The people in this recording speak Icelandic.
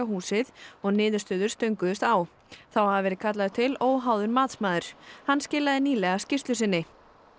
húsið og niðurstöður stönguðust á þá hafi verið kallaður til óháður matsmaður hann skilaði nýlega skýrslu sinni